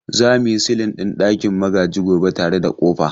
Za mu yi silin ɗin ɗakin Magaji gobe tare da ƙofa.